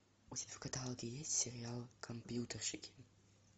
у тебя в каталоге есть сериал компьютерщики